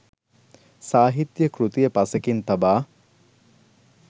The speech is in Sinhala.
සාහිත්‍ය කෘතිය පසෙකින් තබා